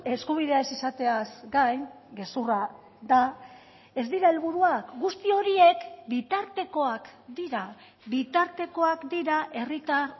eskubidea ez izateaz gain gezurra da ez dira helburuak guzti horiek bitartekoak dira bitartekoak dira herritar